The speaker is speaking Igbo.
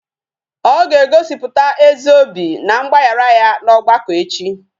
Ọ ga-egosiputa ezi obi na mgbaghara ya n'ọgbakọ echi